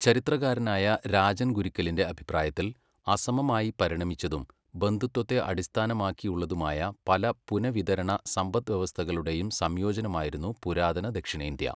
ചരിത്രകാരനായ രാജൻ ഗുരുക്കലിന്റെ അഭിപ്രായത്തിൽ അസമമായി പരിണമിച്ചതും ബന്ധുത്വത്തെ അടിസ്ഥാനമാക്കിയുള്ളതുമായ പല പുനഃവിതരണ സമ്പദ്വ്യവസ്ഥകളുടെയും സംയോജനമായിരുന്നു പുരാതന ദക്ഷിണേന്ത്യ.